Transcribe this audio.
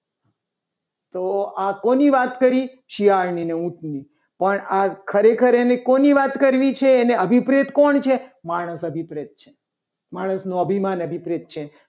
તો આ કોની વાત કરી. શિયાળની અને ઊંટની પણ આ ખરેખર એને કોની વાત કરવી છે. આનો અભિપ્રીત કોણ છે. માણસ અભિપ્રયોગ છે. માણસનું અભિમાન અભિપ્રિત છે.